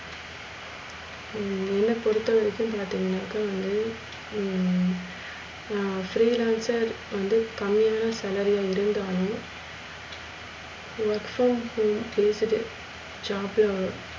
ஹம் என்ன பொருத்தரைக்கும் பாத்திங்கனாக்க வந்து ஹம் நான் free lanch வந்து கம்மியான செலவு அப்டின்றாங்க work from home குடுத்துட்டு job ல